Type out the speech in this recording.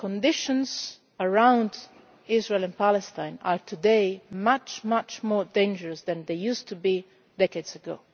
The conditions around Israel and Palestine are today much, much more dangerous than they were decades